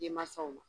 Denmansaw ma